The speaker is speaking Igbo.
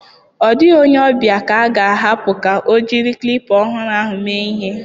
Ọ dịghị onye ọbịa ka a ga-ahapụ ka o jiri klipa ọhụrụ ahụ mee ihe.